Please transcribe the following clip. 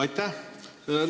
Aitäh!